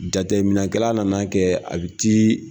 Jateminɛkɛla nana kɛ a bɛ t'i